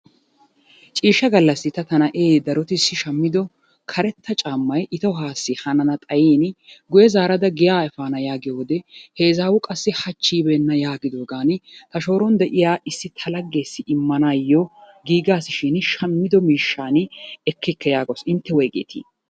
Ciishsha gallassi ta tana'ee darotissi shammido karetta caammay i tohuwassi hanana xayin guyye zaarada giyaa efaana yaagiyo wode he izaawu qassi hachchi yibeenna yaagidoogaani ha shooron de'iya laggeessi immanaayyo giigaasishin shammido miishshan ekkikke yaagawusushin intte woyigeetii?